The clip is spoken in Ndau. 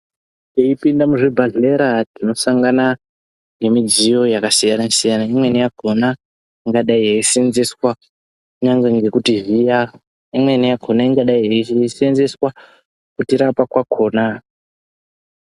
Teipinda muzvibhahlera tinosangana ngemidziyo yakasiyana siyana. Imweni yakhona ingadai yeisenzeswa kunyangwe nekuti vhiya, imweni yakona ingadai yeisenzeswa kutirapa kwakona.